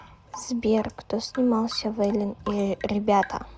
сбер кто снимался в элен и ребята